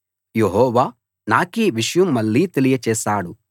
యెహోవా నాకీ విషయం మళ్ళీ తెలియచేశాడు